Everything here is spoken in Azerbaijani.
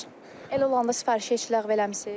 Elə olanda sifarişi heç ləğv eləmisiz?